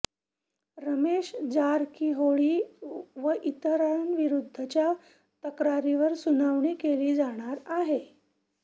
रमेश जारकीहोळी व इतरांविरुद्धच्या तक्रारीवर सुनावणी केली जाणार आहे